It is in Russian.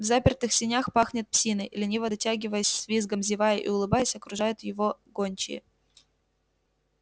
в запертых сенях пахнет псиной лениво дотягиваясь с визгом зевая и улыбаясь окружают его гончие